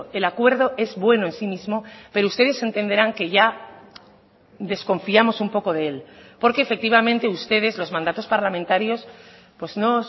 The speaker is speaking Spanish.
el acuerdo es bueno en sí mismo pero ustedes entenderán que ya desconfiamos un poco de él porque efectivamente ustedes los mandatos parlamentarios pues no